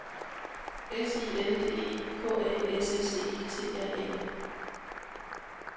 S I L D E K A S S E T R Æ